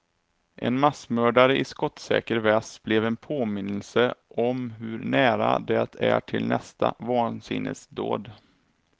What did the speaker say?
En massmördare i skottsäker väst blev en påminnelse om hur nära det är till nästa vansinnesdåd.